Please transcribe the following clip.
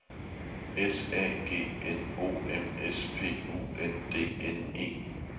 S A G N O M S P U N D N E